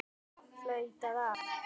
Flautað af.